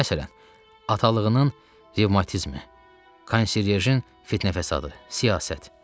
Məsələn, atalığının revmatizmi, konsiyajin fitnə-fəsadı, siyasət.